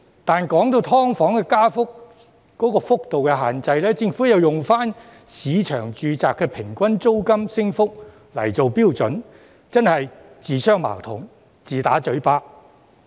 但是，說到"劏房"的加幅幅度限制，政府又用市場住宅的平均租金升幅來做標準，真是自相矛盾，自打嘴巴。